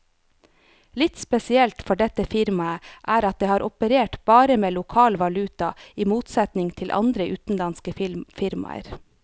Litt spesielt for dette firmaet er at det har operert bare med lokal valuta, i motsetning til andre utenlandske firmaer.